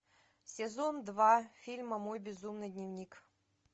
сезон два фильма мой безумный дневник